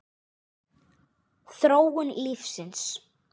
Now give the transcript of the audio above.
Þróun lífsins